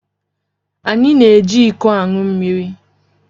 Anyị na-eji iko aṅụ mmiri